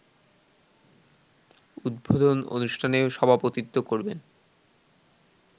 উদ্বোধন অনুষ্ঠানে সভাপতিত্ব করবেন